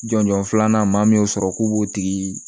Jɔnjɔn filanan maa min y'o sɔrɔ k'o b'o tigi